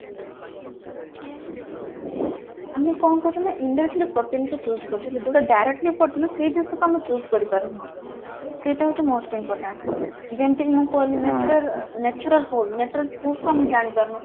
ଆମେ କଣ କରୁଛେ ନା indirectly protein କୁ choose କରୁଛେ ଯୋଉଟା direct protein ସେଇ ଜିନିଷଟା ଆମେ choose କରିପାରୁନେ ସେଇଟା ହଉଛି most important ଯେମିତି ମୁଁ କହିଲି ନା ନ୍ଯାଚୁରାଲ fruit natural fruit ଟା ଆମେ ଜାଣିପାରୁନୁ